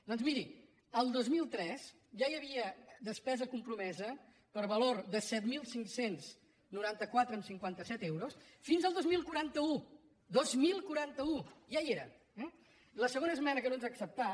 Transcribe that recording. doncs miri el dos mil tres ja hi havia despesa compromesa per valor de set mil cinc cents i noranta quatre coma cinquanta set euros fins al dos mil quaranta u dos mil quaranta u ja hi era eh la segona esmena que no ens ha acceptat